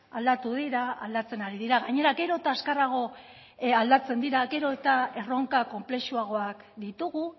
aldatu dira aldatzen ari dira gainera gero eta azkarrago aldatzen dira gero eta erronka konplexuagoak ditugu